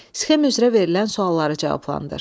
Sxem üzrə verilən sualları cavablandır.